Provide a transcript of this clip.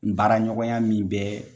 Baara ɲɔgɔnya min bɛɛ